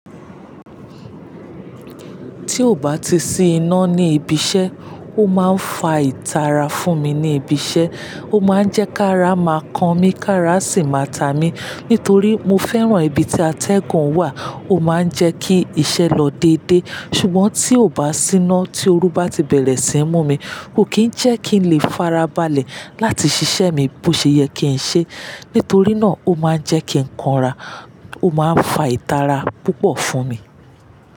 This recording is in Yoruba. Tí ò bá ti sí iná ní ibi iṣẹ́, ó máa ń fa ìtara fún mi ní ibi iṣẹ́. Ó máa ń jẹ́ kí ara máa kan mi, kí ara sì máa ta mi. Nítorí mo fẹ́ràn ibi tí atẹ́gùn wà, ó máa ń jẹ́ kí iṣẹ́ lọ dédé. Ṣùgbọ́n tí ò bá sí iná, tí oru bá ti bẹ̀rẹ̀ sí ń mú mi, ò kí ń jẹ́ kí n lè farabalẹ̀ láti ṣiṣẹ́ mi bó ṣe yẹ kí n ṣe. Nítorí náà, ó máa ń jẹ́ kí n kanra, ó máa ń fa ìtara púpọ̀ fún mi.